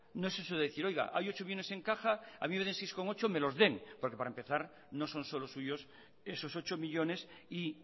no es eso de decir hay ocho millónes en caja a mí seis coma ocho me los den porque para empezar no son solo suyos esos ocho millónes y